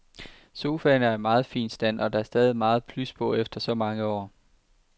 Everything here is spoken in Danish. Sofaen er i meget fin stand, og der er stadig meget plys på efter så mange år.